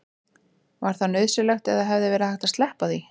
var það nauðsynlegt eða hefði verið hægt að sleppa því